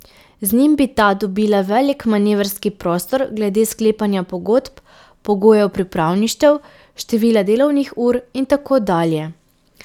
Z njim bi ta dobila velik manevrski prostor glede sklepanja pogodb, pogojev pripravništev, števila delovnih ur in tako dalje.